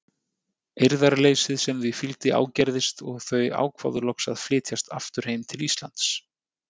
Eirðarleysið sem því fylgdi ágerðist og þau ákváðu loks að flytjast aftur heim til Íslands.